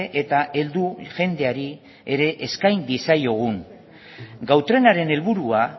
eta heldu jendeari ere eskain diezaiogun gau trenaren helburua